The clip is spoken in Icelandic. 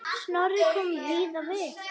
Snorri kom víða við.